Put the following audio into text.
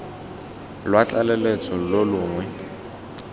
lwa tlaleletso lo lo longwe